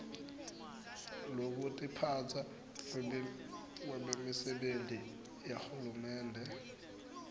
lwekutiphatsa kwebemisebenti yahulumende